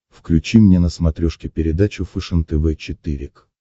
включи мне на смотрешке передачу фэшен тв четыре к